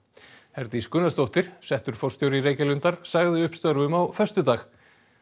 Herdís Gunnarsdóttir settur forstjóri Reykjalundar sagði upp störfum á föstudag